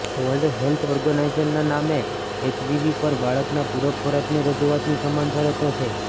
world health ઓર્ગેનાઇઝેશનના નામ HBV પર બાળકના પૂરક ખોરાકની રજૂઆતની સમાન શરતો છે